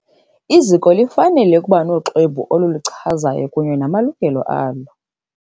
Iziko lifanele ukuba noxwebhu olulichazayo kunye namalungelo alo.